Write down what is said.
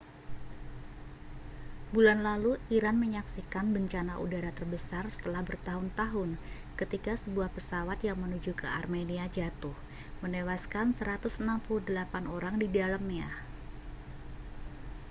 bulan lalu iran menyaksikan bencana udara terbesar setelah bertahun-tahun ketika sebuah pesawat yang menuju ke armenia jatuh menewaskan 168 orang di dalamnya